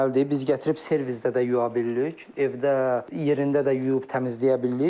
Biz gətirib servizdə də yuya bilirik, evdə yerində də yuyub təmizləyə bilirik.